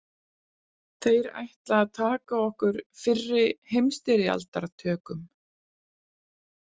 Þeir ætla að taka okkur fyrri- heimsstyrjaldartökum